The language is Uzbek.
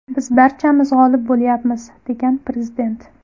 Biz barchamiz g‘olib bo‘lyapmiz”, degan prezident.